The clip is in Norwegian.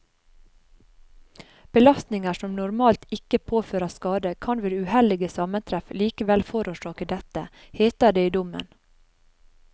Belastninger som normalt ikke påfører skade, kan ved uheldige sammentreff likevel forårsake dette, heter det i dommen.